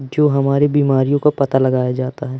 जो हमारे बीमारियों का पता लगाया जाता है।